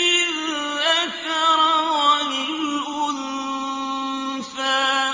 الذَّكَرَ وَالْأُنثَىٰ